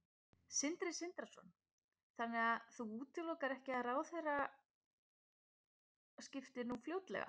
Sindri Sindrason: Þannig að þú útilokar ekki ráðherraskipti nú fljótlega?